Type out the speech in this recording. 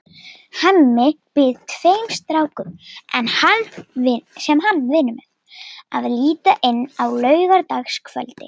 Hemmi býður tveim strákum, sem hann vinnur með, að líta inn á laugardagskvöldi.